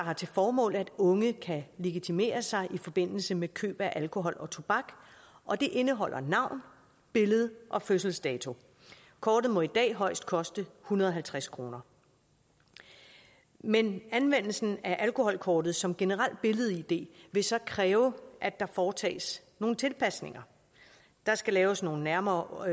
har til formål at unge kan legitimere sig i forbindelse med køb af alkohol og tobak og det indeholder navn billede og fødselsdato kortet må i dag højst koste hundrede og halvtreds kroner men anvendelsen af alkoholkortet som generelt billed id vil så kræve at der foretages nogle tilpasninger der skal laves nogle nærmere